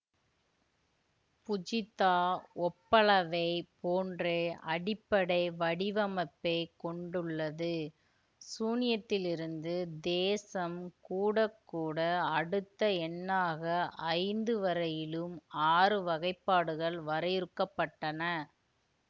புஜித்தா ஒப்பளவைப் போன்றே அடிப்படை வடிவமைப்பை கொண்டுள்ளது சூன்யத்திலிருந்து தேசம் கூடக்கூட அடுத்த எண்ணாக ஐந்து வரையிலும் ஆறு வகைப்பாடுகள் வரையறுக்கப்பட்டன